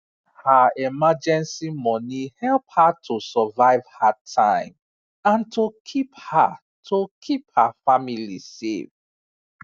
her emergency money help her to survive hard time and to keep her to keep her family safe